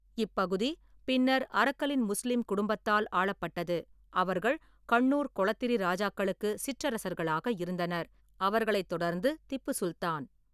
இப்பகுதி பின்னர் அரக்கலின் முஸ்லீம் குடும்பத்தால் ஆளப்பட்டது, அவர்கள் கண்ணூர் கொளத்திரி ராஜாக்களுக்கு சிற்றரசர்களாக இருந்தனர், அவரைத் தொடர்ந்து திப்பு சுல்தான்.